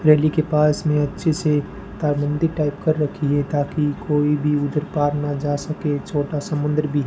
रेली के पास में अच्छे से तारबंदी टाइप कर रखी है ताकि कोई भी उधर पार ना जा सके छोटा समुद्र भी--